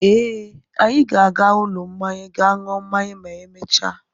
Ee, anyị ga-aga ụlọ mmanya gaa ṅụọ mmanya ma emechaa.